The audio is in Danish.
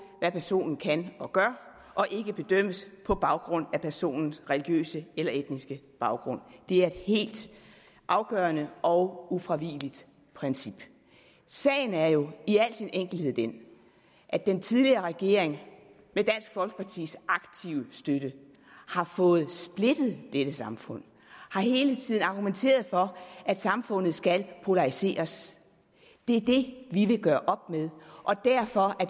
hvad personen kan og gør og ikke bedømmes på baggrund af personens religiøse eller etniske baggrund det er et helt afgørende og ufravigeligt princip sagen er jo i al sin enkelhed den at den tidligere regering med dansk folkepartis aktive støtte har fået splittet dette samfund og hele tiden har argumenteret for at samfundet skal polariseres det er det vi vil gøre op med og derfor